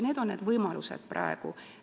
Need on need võimalused, mis praegu on.